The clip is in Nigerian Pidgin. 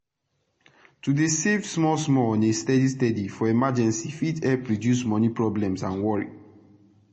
to dey save small small on a steady steady for emergency fit epp reduce moni problem and worry